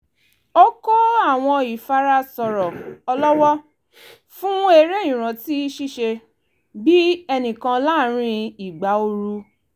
ó kọ́ àwọn ìfara sọ̀rọ̀ ọlọ́wọ́ fún eré ìrántí ṣíṣe-bí-ẹnìkan láàrin ìgbà ooru